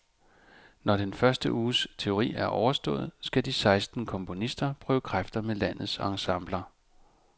Når den første uges teori er overstået, skal de seksten komponister prøve kræfter med landets ensembler.